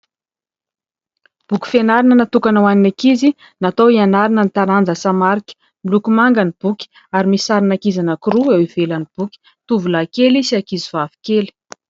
Boky fianarana natokana ho an'ny ankizy natao hianarana ny taranja samarika, miloko manga ny boky ary misy sarin'ankizy anaky roa eo ivelan'ny boky. Tovolahy kely sy ankizy vavy kely.